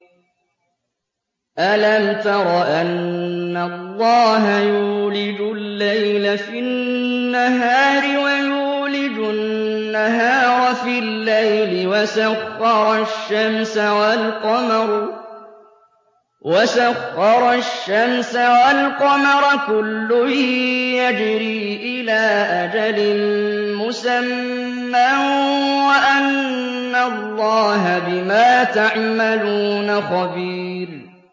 أَلَمْ تَرَ أَنَّ اللَّهَ يُولِجُ اللَّيْلَ فِي النَّهَارِ وَيُولِجُ النَّهَارَ فِي اللَّيْلِ وَسَخَّرَ الشَّمْسَ وَالْقَمَرَ كُلٌّ يَجْرِي إِلَىٰ أَجَلٍ مُّسَمًّى وَأَنَّ اللَّهَ بِمَا تَعْمَلُونَ خَبِيرٌ